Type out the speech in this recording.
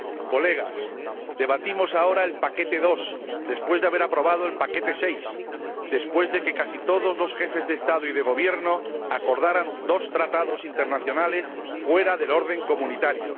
Colegas, debatimos ahora el paquete de dos después de haber aprobado el paquete de seis después de que casi todos los Jefes de Estado y de Gobierno acordaran dos Tratados internacionales fuera del orden comunitario